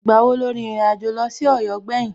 Ìgbà wo lo rìnrìn àjò lọ sí Ọ̀yọ́ gbẹ̀yìn?